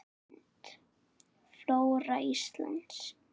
Mynd: Flóra Íslands